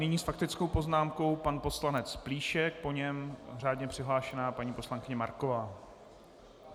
Nyní s faktickou poznámkou pan poslanec Plíšek, po něm řádně přihlášená paní poslankyně Marková.